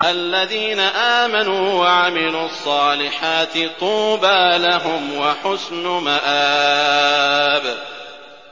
الَّذِينَ آمَنُوا وَعَمِلُوا الصَّالِحَاتِ طُوبَىٰ لَهُمْ وَحُسْنُ مَآبٍ